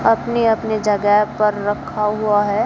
अपने अपने जगह पर रखा हुआ है।